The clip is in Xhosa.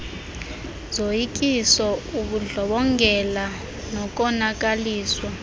zoyikiso ubundlobongela nokonakaliswa